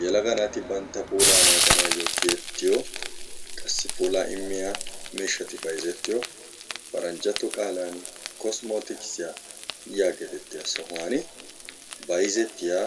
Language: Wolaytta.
Yelaga naati bantta puulaa naaganaayyo tiyettiyo qassi puulaa immiya miishshati bayizettiyo paranjjatto qaalaani "kosmotiksiya" yaagetettiya sohuwan bayizettiya